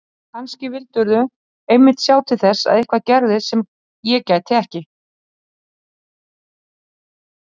Kannski vildirðu einmitt sjá til þess að eitthvað gerðist sem ég gæti ekki